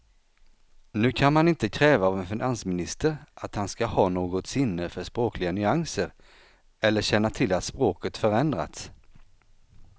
Nu kan man inte kräva av en finansminister att han ska ha något sinne för språkliga nyanser eller känna till att språket förändrats.